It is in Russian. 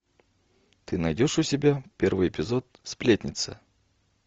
ты найдешь у себя первый эпизод сплетница